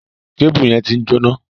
Kébùù yẹn ti ń jóná.